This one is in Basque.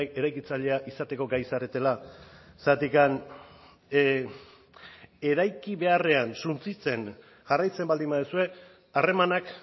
eraikitzailea izateko gai zaretela zergatik eraiki beharrean suntsitzen jarraitzen baldin baduzue harremanak